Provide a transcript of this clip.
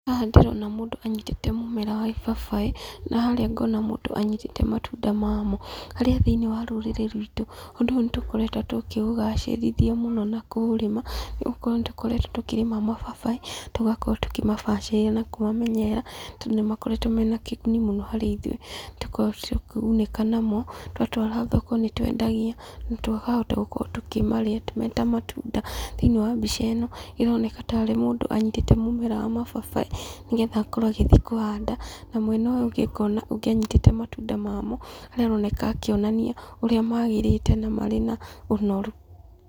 Haha ndĩrona mũndũ anyitĩte mũmera wa ibabaĩ, na harĩa ngona mũndũ anyitĩte matunda mamo, harĩa thĩinĩ wa rũrĩrĩ rwitũ, ũndũ ũyũ nĩ tũkoretwo tũkĩũgacĩrithia mũno na kũũrĩma, nĩgũkorwo nĩ tũkoretwo tũkĩrĩma mababaĩ, tũgakorwo tũkĩmabacĩrĩra na kũmamenyerera, tondũ nĩ makoretwo mena kĩguni mũno harĩ ithuĩ, nĩ tũkoragwo tũkĩgunĩka namo, twatwara thoko nĩ twendagia, na tũkahota gũkorwo tũkĩmarĩa me ta matunda. Thĩinĩ wa mbica ĩno, ĩroneka tarĩ mũndũ anyitĩte mũmera wa mababaĩ, nĩgetha akorwo agĩthiĩ kũhanda, na mwena ũyũ ũngĩ ngona ũngĩ anyitĩte matunda mamoo, harĩa aroneka akĩonania ũrĩa magĩrĩte na marĩ na ũnoru.